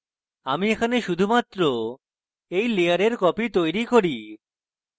আমি এখানে শুধুমাত্র এই layer copy তৈরী করি